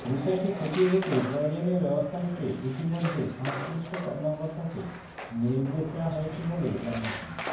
বিষয়টি খতিয়ে দেখে প্রয়োজনীয় ব্যবস্থা নিতে ইতোমধ্যে সংশ্লিষ্ট কর্মকর্তাকে নির্দেশ দেওয়া হয়েছে বলে জানিয়েছেন